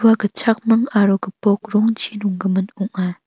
ua gitchakming aro gipok rongchi nonggimin ong·a.